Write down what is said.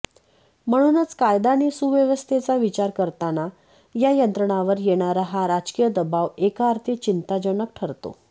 म्हणूनच कायदा आणि सुव्यवस्थेचा विचार करताना या यंत्रणांवर येणारा हा राजकीय दबाव एकाअर्थी चिंताजनक ठरतो